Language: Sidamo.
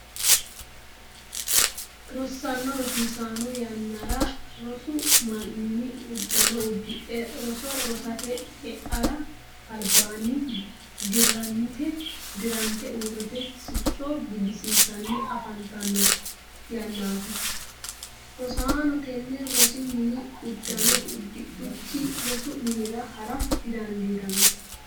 Rosaano rosonsa yannara rosu minni udano udidhe roso rosate e'ara albaanni dirante uurite sicco gidisiissanni afantano yanaati. Rosaano tenne rosu mini udano udidhuki rosu minnira hara didandiitano.